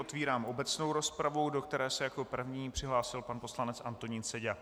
Otevírám obecnou rozpravu, do které se jako první přihlásil pan poslanec Antonín Seďa.